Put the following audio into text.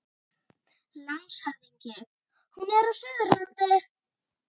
LANDSHÖFÐINGI: Hún er á Suðurlandi.